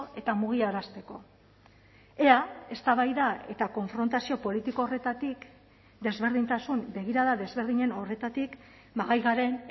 eta mugiarazteko ea eztabaida eta konfrontazio politiko horretatik desberdintasun begirada desberdinen horretatik gai garen